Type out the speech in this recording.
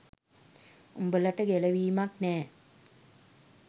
උඹලට ගැලවීමක් නෑ.